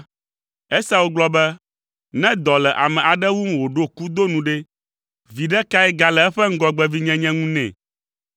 Esau gblɔ be, “Ne dɔ le ame aɖe wum wòɖo kudo nu ɖe, viɖe kae gale eƒe ŋgɔgbevinyenye ŋu nɛ?”